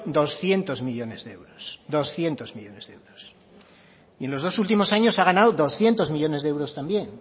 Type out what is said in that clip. doscientos millónes de euros doscientos millónes de euros y en los dos últimos años ha ganado doscientos millónes de euro también